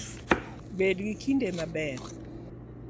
Bed gi kinde maber! .